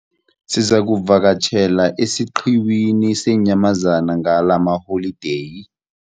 Sizakuvakatjhela esiqhiwini seenyamazana ngalamaholideyi.